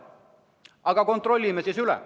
Aga kontrollime üle!